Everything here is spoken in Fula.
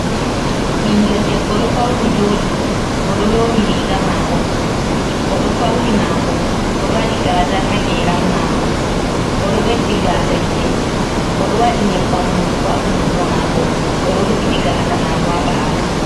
Ɓiingel debbo: Ɗo fauni jodi oɗo lowi riiga mako oɗo fauni mako oɗo wadi gaazal ha geran mako oɗo ɓeddi gaasa gite oɗo wadi nyebbam hunduko ha hunduko mako. Oɗo rufiti gaasa mako ha bawo.